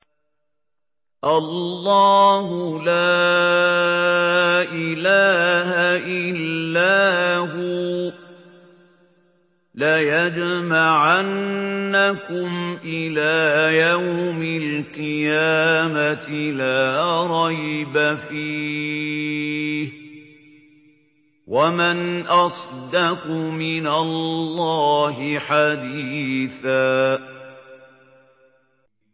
اللَّهُ لَا إِلَٰهَ إِلَّا هُوَ ۚ لَيَجْمَعَنَّكُمْ إِلَىٰ يَوْمِ الْقِيَامَةِ لَا رَيْبَ فِيهِ ۗ وَمَنْ أَصْدَقُ مِنَ اللَّهِ حَدِيثًا